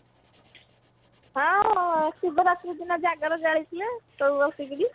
ହଁ ହଁ ଶିବ ରାତ୍ରି ଦିନ ଜାଗର ଜାଳିଥିଲେ ସବୁ ବସିକିରି